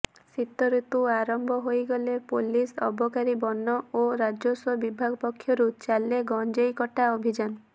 ଶୀତଋତୁ ଆରମ୍ଭ ହୋଇଗଲେ ପୁଲିସ ଅବକାରୀ ବନ ଓ ରାଜସ୍ୱ ବିଭାଗ ପକ୍ଷରୁ ଚାଲେ ଗଞ୍ଜେଇ କଟା ଅଭିଯାନ